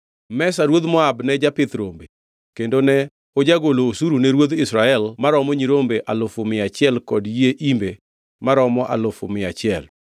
Mesha ruodh Moab ne japith rombe, kendo ne ojagolo osuru ne ruodh Israel maromo nyirombe alufu mia achiel kod yie imbe maromo alufu mia achiel.